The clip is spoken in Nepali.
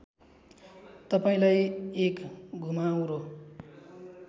तपाईँंलाई एक घुमाउरो